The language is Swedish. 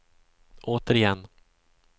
återigen